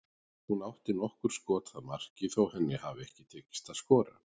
Hún átti nokkur skot að marki þó henni hafi ekki tekist að skora.